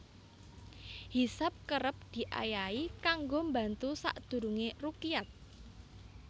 Hisab kerep diayahi kanggo mbantu sadurungé rukyat